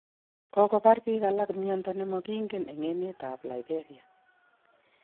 Kokobar biik alak myondo ne mangingen eng' emet ab liberia